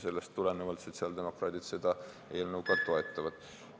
Sellest tulenevalt sotsiaaldemokraadid seda eelnõu ka toetavad.